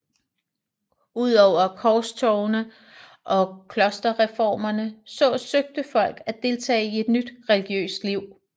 Udover korstogene og klosterreformerne så søgte folk at deltage i nyt religiøst liv